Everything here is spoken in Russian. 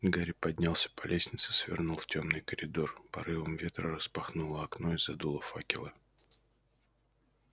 гарри поднялся по лестнице свернул в тёмный коридор порывом ветра распахнуло окно и задуло факелы